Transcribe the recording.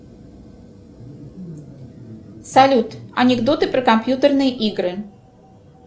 салют анекдоты про компьютерные игры